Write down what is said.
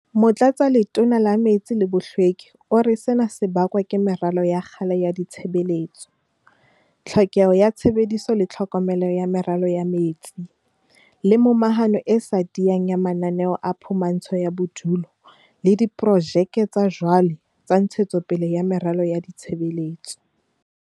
Motlatsaletona la Metsi le Bohlweki o re sena se bakwa ke meralo ya kgale ya ditshebeletso, tlhokeho ya tshebediso le tlhokomelo ya meralo ya metsi, le momahano e sa tiyang ya mananeo a phumantsho ya bodulo le diprojeke tsa jwale tsa ntshetsopele ya meralo ya ditshebeletso.